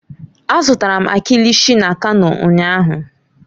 Azụtara m kilishi na kano ụnyahụ.